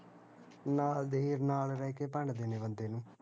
ਨਾਲ਼ ਦੇ ਈ ਨਾਲ਼ ਰਹਿ ਕੇ ਭੰਡਦੇ ਨੇ ਬੰਦੇ ਨੂੰ